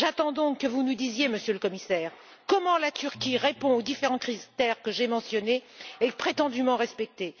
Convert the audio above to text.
J'attends donc que vous nous disiez, Monsieur le Commissaire, comment la Turquie répond aux différents critères que j'ai mentionnés et qui sont prétendument respectés?